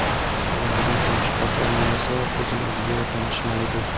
Ularda bosh qahramon esa o‘zimizga tanish Malibu.